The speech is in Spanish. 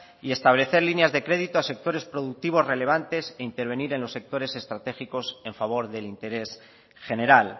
y establecer líneas de créditos a sectores productivos relevante e intervenir en los sectores estratégicos en favor del interés general